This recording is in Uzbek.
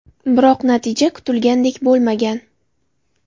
Biroq natija kutilganidek bo‘lmagan.